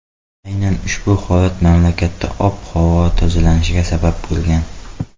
Aynan ushbu holat mamlakatda ob-havo tozalanishiga sabab bo‘lgan.